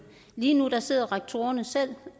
lige nu sidder rektorerne selv